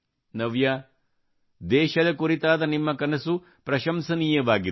ನವ್ಯಾ ದೇಶದ ಕುರಿತಾದ ನಿಮ್ಮ ಕನಸು ಪ್ರಶಂಸನೀಯವಾಗಿದೆ